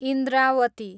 Indrawati